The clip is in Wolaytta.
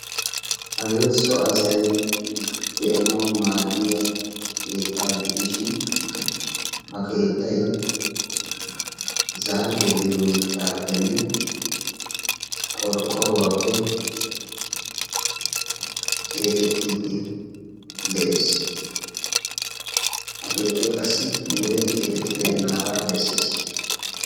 hage so assay daanayo maadiya keetta ha keetaykka zafiyappene qorqoruwappe keexetidi beettessi ikka qassi wuridi keexeti beenagaa besessi.